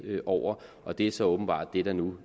over og det er så åbenbart det der nu